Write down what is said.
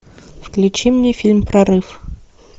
включи мне фильм прорыв